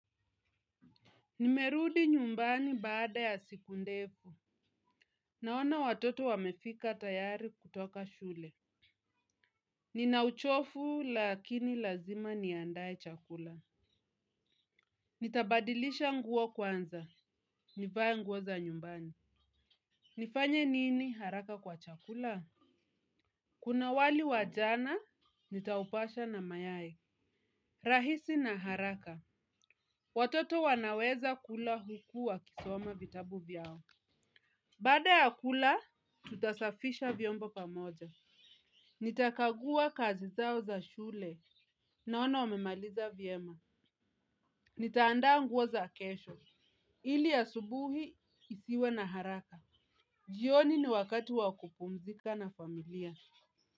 Nimerudi nyumbani baada ya siku ndefu. Naona watoto wamefika tayari kutoka shule. Nina uchofu lakini lazima niandae chakula. Nitabadilisha nguo kwanza. Nivae nguo za nyumbani. Nifanye nini haraka kwa chakula? Kuna wali wa jana, nitaupasha na mayai. Rahisi na haraka. Watoto wanaweza kula huku wakisoma vitabu vyao. Baada ya kula, tutasafisha vyombo pamoja. Nitakagua kazi zao za shule naona wamemaliza vyema. Nitaandaa nguo za kesho. Ili asubuhi isiwe na haraka. Jioni ni wakati wa kupumzika na familia.